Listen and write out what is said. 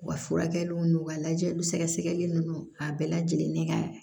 U ka furakɛliw n'u ka lajɛliw sɛgɛsɛgɛli ninnu a bɛɛ lajɛlen ka